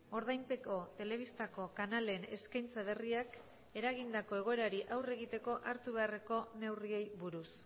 ordainpeko telebistako kanalen eskaintza berriak eragindako egoerari aurre egiteko hartu beharreko neurriei buruz